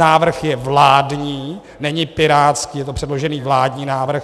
Návrh je vládní, není pirátský, je to předložený vládní návrh.